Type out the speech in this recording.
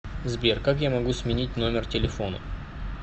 сбер как я могу сменить номер телефона